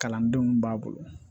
Kalandenw b'a bolo